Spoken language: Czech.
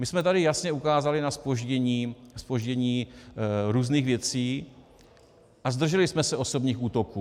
My jsme tady jasně ukázali na zpoždění různých věcí a zdrželi jsme se osobních útoků.